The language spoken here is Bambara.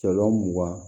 Cɛlɔn mugan